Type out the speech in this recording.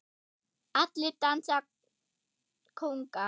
Allir dansa kónga